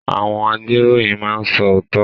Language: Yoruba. Àwọn agbeiroyin máa n so ootọ.